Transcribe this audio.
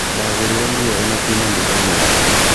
Ndagũrire nguo ĩno kuuma nduka-inĩ yaku